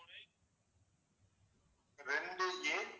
ரெண்டு A